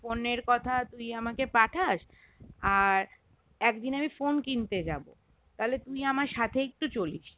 Phone এর কথা তুই আমাকে পাঠাস আর একদিন আমি phone কিনতে যাবো তাহলে তুই আমার সাথে একটু চলিস